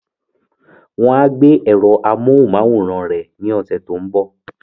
Wọ́n á gbé èrò amóhunmáwòrán rẹ̀ ní ọ̀sẹ̀ tó ń bọ̀